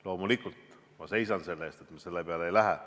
Loomulikult ma seisan selle eest, et me selle peale ei lähe.